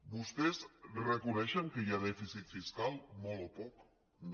vostès reconeixen que hi ha dèficit fiscal molt o poc no